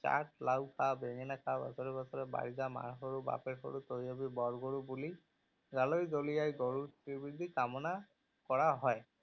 লাও খা বেঙেনা খা বছৰে বছৰে বাঢ়ি যা মাৰ সৰু বাপেৰ সৰু তই হবি বৰ গৰু, বুলি গালৈ দলিয়াই গৰুৰ শ্ৰী বৃদ্ধি কামনা কৰা হয়।